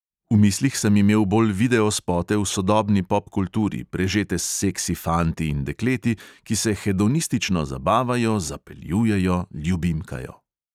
V mislih sem imel bolj videospote v sodobni popkulturi, prežete s seksi fanti in dekleti, ki se hedonistično zabavajo, zapeljujejo, ljubimkajo ...